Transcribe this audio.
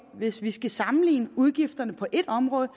hvis vi skal sammenligne udgifterne på et område